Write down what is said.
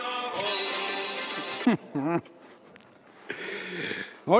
No nii!